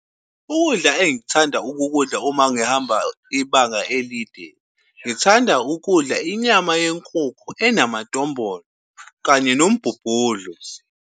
Ukudla engikuthanda ukukudla uma ngihamba ibanga elide, ngithanda ukudla, inyama yenkukhu enamadombolo nombumbudlo.